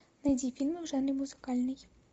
найди фильмы в жанре музыкальный